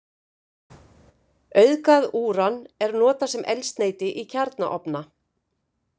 Auðgað úran er notað sem eldsneyti í kjarnaofna.